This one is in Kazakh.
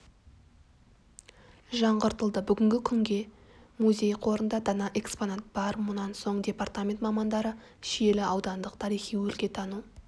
жаңғыртылды бүгінгі күнге музей қорында дана экспонат бар мұнан соң департамент мамандары шиелі аудандық тарихи-өлкетану